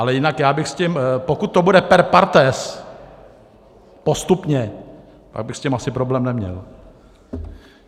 Ale jinak já bych s tím, pokud to bude per partes, postupně, já bych s tím asi problém neměl.